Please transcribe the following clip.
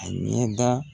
A ɲɛda